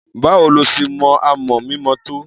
Báwo lo ṣe mọ amọ̀ mímọ tó?